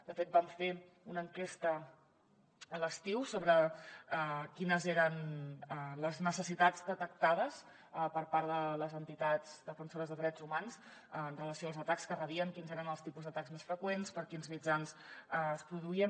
de fet vam fer una enquesta a l’estiu sobre quines eren les necessitats detectades per part de les entitats defensores de drets humans amb relació als atacs que rebien quins eren els tipus d’atacs més freqüents per quins mitjans es produïen